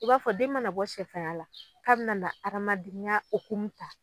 I b'a fɔ den mana bɔ sɛfanya la k'a bina na hadamadenya okumu ta